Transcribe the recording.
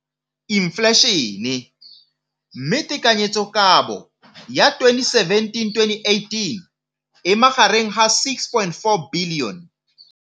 Infleišene, mme tekanyetsokabo ya 2017 le 2018 e magareng ga R6.4 bilione.